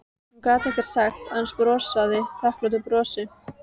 Hún gat ekkert sagt, aðeins brosað þakklátu brosi.